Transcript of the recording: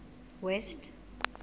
west